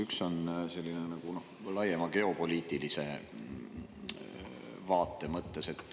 Üks on selline nagu laiema geopoliitilise vaate mõttes.